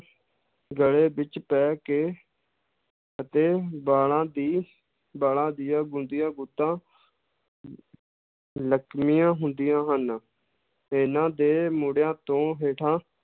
ਗਲੇ ਵਿੱਚ ਪੈ ਕੇ ਅਤੇ ਵਾਲਾਂ ਦੀ ਵਾਲਾਂ ਦੀਆਂ ਗੁੰਦੀਆਂ ਗੁੱਤਾ ਲਕਮੀਆਂ ਹੁੰਦੀਆਂ ਹਨ, ਇਹਨਾਂ ਦੇ ਮੋਢਿਆਂ ਤੋਂ ਹੇਠਾਂ